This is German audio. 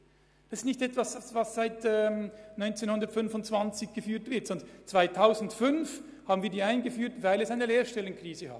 Diese Ausbildung besteht nicht seit 100 Jahren, sondern wir haben sie 2005 wegen der Lehrstellenkrise aufgebaut.